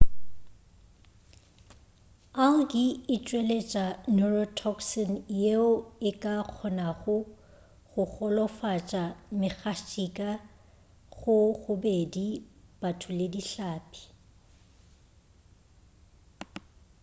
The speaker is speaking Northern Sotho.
algae e tšweletša neurotoxin yeo e ka kgonago go golofatša megatšhika go bobedi batho le dihlapi